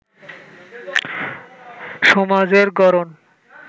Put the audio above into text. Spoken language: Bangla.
সমাজের গড়ন